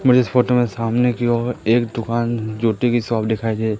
मुझे इस फोटो में सामने की ओर एक दुकान जूते की शॉप दिखाई दे--